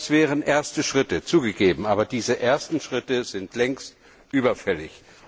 Das wären erste Schritte zugegeben, aber diese ersten Schritte sind längst überfällig.